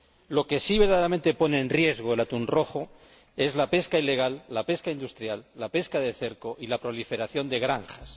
Lo que verdaderamente pone en peligro al atún rojo es la pesca ilegal, la pesca industrial, la pesca de cerco y la proliferación de granjas.